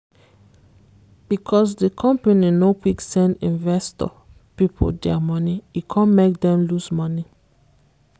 because di company no quick send investor people dia money e come make dem loose money.